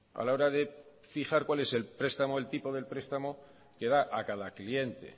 a la hora de fijar cuál es el prestamo el tipo de prestamo que da a cada cliente